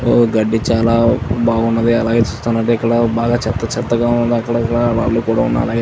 ఓహ్ గడ్డి చాలా బావున్నది. అలాగే చూస్తున్నట్టయితే బాగా చెత్త చెత్తగా ఉంది. అక్కడక్కడా రాళ్ళు కూడా ఉన్నాయి.